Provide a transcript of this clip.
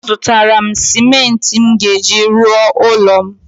A zụtara m simenti m ga-eji rụọ ụlọ m